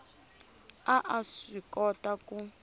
a a swi kota ku